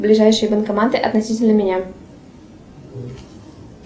ближайшие банкоматы относительно меня